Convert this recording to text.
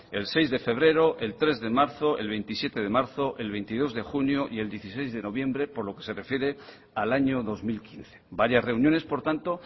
el seis de febrero el tres de marzo el veintisiete de marzo el veintidós de junio y el dieciséis de noviembre por lo que se refiere al año dos mil quince varias reuniones por tanto